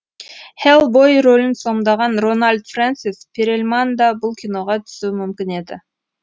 хеллбой рөлін сомдаған рональд фрэнсис перельман да бұл киноға түсуі мүмкін еді